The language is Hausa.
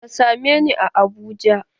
Ka same ni a Abuja!